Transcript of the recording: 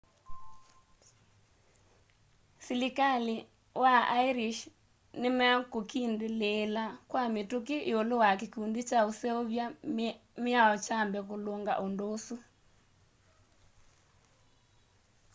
silikali wa ĩrĩsh nĩmekũkindĩlĩĩla kwa mituki iulu wa kĩkũndĩ kya ũseũvya mĩao kyambe kulunga undu ũsu